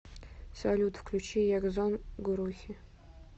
салют включи ягзон гурухи